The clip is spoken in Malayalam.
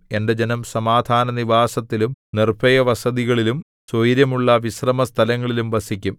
എന്റെ ജനം സമാധാനനിവാസത്തിലും നിർഭയവസതികളിലും സ്വൈരമുള്ള വിശ്രമസ്ഥലങ്ങളിലും വസിക്കും